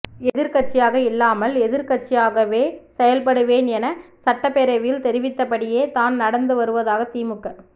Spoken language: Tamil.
எதிரிக்கட்சியாக இல்லாமல் எதிர்க்கட்சியாகவே செயல்படுவேன் என சட்டப்பேரவையில் தெரிவித்தப்படியே தான் நடந்து வருவதாக திமுக